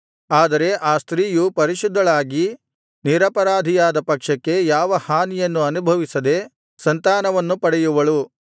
ಆದರೆ ಆ ಸ್ತ್ರೀಯು ಪರಿಶುದ್ಧಳಾಗಿ ನಿರಪರಾಧಿಯಾದ ಪಕ್ಷಕ್ಕೆ ಯಾವ ಹಾನಿಯನ್ನು ಅನುಭವಿಸದೆ ಸಂತಾನವನ್ನು ಪಡೆಯುವಳು